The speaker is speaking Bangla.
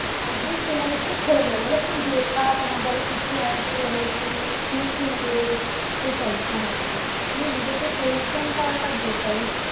একদিন সেই মানুষটা ছেড়ে যাবে বলবে তুমি বেকার তোমার দ্বারা কিছু হয় না তুমি lazy তুমি কুড়ে এটাই শেন তবে নিজেকে পরিশ্রম করাটা better